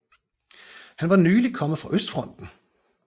Han var nyligt kommet fra østfronten